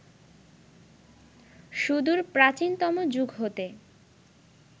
সুদূর প্রাচীনতম যুগ হতে